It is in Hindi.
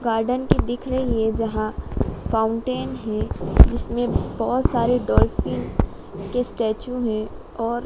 गार्डन की दिख रही है जहां फाउंटेन है जिसमें बहोत सारे डॉल्फिन के स्टैचू में और--